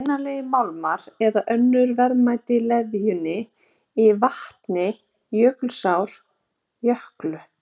Eru vinnanlegir málmar eða önnur verðmæti í leðjunni í vatni Jökulsár- Jöklu?